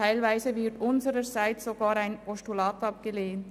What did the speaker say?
Teilweise wird unsererseits sogar ein Postulat abgelehnt.